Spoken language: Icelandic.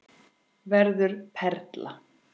Verður perla.